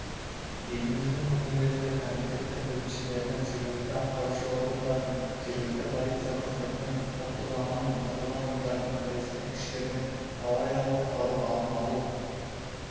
еліміздің өңірлерінде комитеті бөлімшелерінің жергілікті атқарушы органдардың жергілікті полиция қызметінің ұлттық ұланның тартылған ұйымдардың бірлескен күштерімен авариялық-құтқару алдын алу